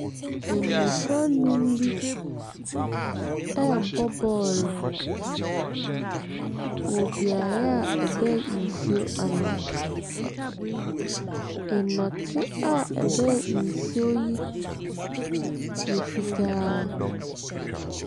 Mmɔfra nnum bi rebɔ bɔɔlo wɔ beaeɛ a ɛbɛn nsuo ano. Nnɔte a ɛbɛn nsuo yi yɛ fitaaaa.